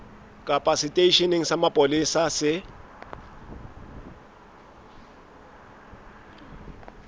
kapa seteisheneng sa mapolesa se